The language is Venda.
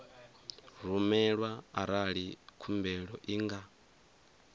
rumelwa arali khumbelo i nga